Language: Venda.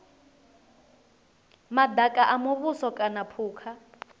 madaka a muvhuso kana phukha